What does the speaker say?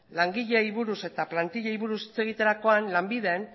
langileei buruz eta plantilei buruz hitz egiterakoan lanbiden